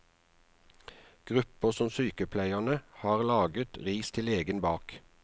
Grupper som sykepleierne har laget ris til egen bak.